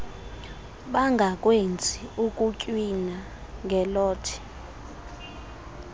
bangakwenzi ukutywina ngelothe